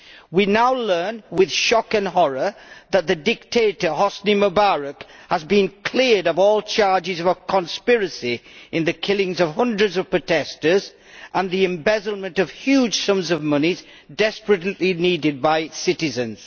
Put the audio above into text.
We now learn with shock and horror that the dictator Hosni Mubarak has been cleared of all charges of conspiracy in the killings of hundreds of protestors and the embezzlement of huge sums of money desperately needed by Egypt's citizens.